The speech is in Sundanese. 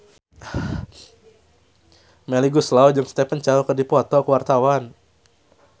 Melly Goeslaw jeung Stephen Chow keur dipoto ku wartawan